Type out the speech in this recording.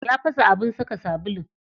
Ya fasa abin saka sabulu.